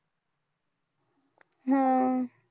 हम्म